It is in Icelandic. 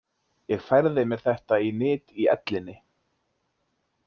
Ég færði mér þetta í nyt í ellinni.